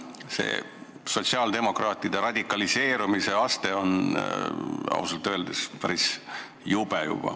See sotsiaaldemokraatide radikaliseerumise aste on ausalt öeldes juba väga jube.